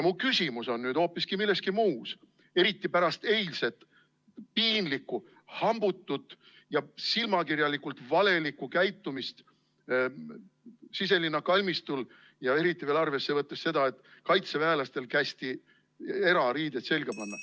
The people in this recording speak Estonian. Mu küsimus on nüüd aga hoopiski milleski muus, eriti pärast eilset piinlikku hambutut ja silmakirjalikult valelikku käitumist Siselinna kalmistul, ja eriti veel arvesse võttes seda, et kaitseväelastel kästi erariided selga panna.